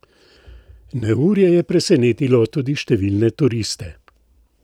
Neurje je presenetilo tudi številne turiste.